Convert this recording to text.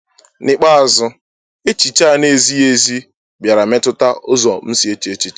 N’ikpeazụ, echiche a na-ezighị ezi bịara metụta ụzọ m si eche echiche.